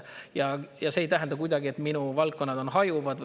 See ei tähenda kuidagi, et minu valdkonnad on hajuvad.